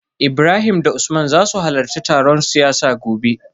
Ibrahim da Usman za su halarci taron siyasa gobe